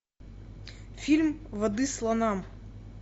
фильм воды слонам